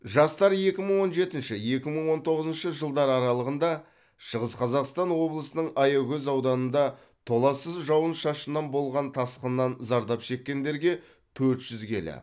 жастар екі мың он жетінші екі мың он тоғызыншы жылдар аралығында шығыс қазақстан облысының аягөз ауданында толассыз жауын шашыннан болған тасқыннан зардап шеккендерге төрт жүз келі